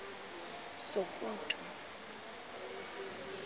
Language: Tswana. sokutu